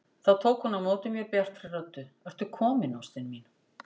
Þá tók hún á móti mér bjartri röddu: Ertu kominn ástin mín!